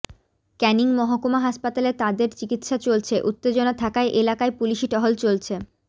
ক্যানিং মহকুমা হাসপাতালে তাঁদের চিকিৎসা চলছে উত্তেজনা থাকায় এলাকায় পুলিশি টহল চলছে